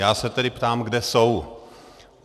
Já se tedy ptám, kde jsou.